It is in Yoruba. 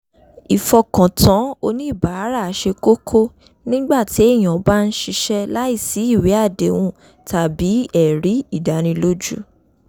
ìfọkàtàn oníbàárà ṣe kókó nígbà téèyàn bá ń ṣiṣẹ́ láìsí ìwé àdéhùn tàbí ẹ̀rí ìdánilójú